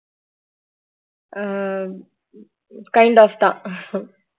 ah kind of தான்